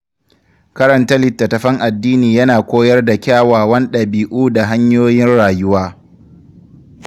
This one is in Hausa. Karanta litattafan addini yana koyar da kyawawan ɗabi’u da hanyoyin rayuwa.